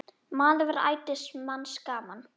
Maður var ætíð manns gaman.